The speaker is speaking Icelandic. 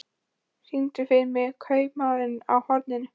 Oktavíus, syngdu fyrir mig „Kaupmaðurinn á horninu“.